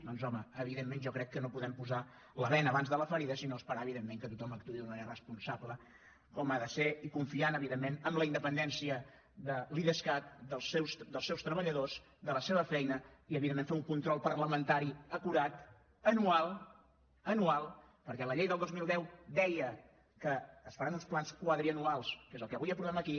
doncs home jo crec que no podem posar la bena abans de la ferida sinó esperar que tothom actuï d’una manera responsable com ha de ser i confiant evidentment en la independència de l’idescat dels seus treballadors de la seva feina i evidentment fer ne un control parlamentari acurat anual anual perquè la llei del dos mil deu deia que s’han de fer uns plans quadriennals que és el que avui aprovem aquí